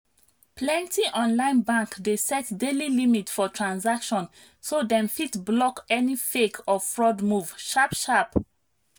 plenty online bank dey set daily limit for transaction so dem fit block any fake or fraud move sharp-sharp.